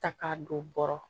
Ta k'a don bɔrɔ kɔrɔ